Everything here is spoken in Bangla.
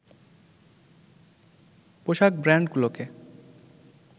পোশাক ব্রান্ডগুলোকে